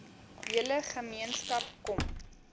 hele gemeenskap kom